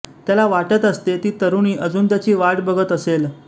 त्याला वाटत असते ती तरुणी अजुन त्याची वाट बघत असेल